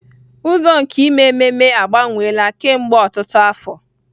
Ụzọ nke ime ememe agbanweela kemgbe ọtụtụ afọ